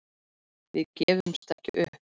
Við gefumst ekki upp